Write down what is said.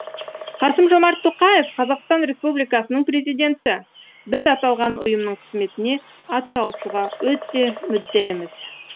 қасым жомарт тоқаев қазақстан республикасының президенті біз аталған ұйымның қызметіне атсалысуға өте мүдделіміз